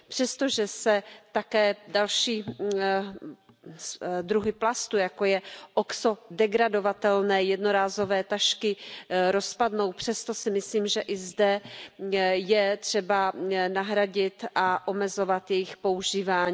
Přestože se také další druhy plastů, jako jsou oxodegradovatelné jednorázové tašky, rozpadnou, přesto si myslím, že i zde je třeba nahradit a omezovat jejich používání.